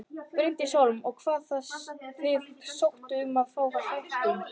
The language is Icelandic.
Bryndís Hólm: Og hafið þið sótt um að fá hækkun?